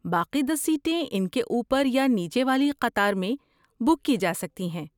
باقی دس سیٹیں ان کے اوپر یا نیچے والی قطار میں بک کی جا سکتی ہیں۔